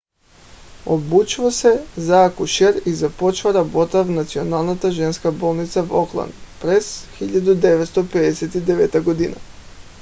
обучава се за акушер и започва работа в националната женска болница в окланд през 1959 г